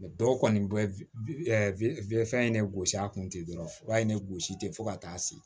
dɔw kɔni bɛ wili fɛn ne gosi a kun ten dɔrɔn u b'a ye ne gosi te fo ka taa se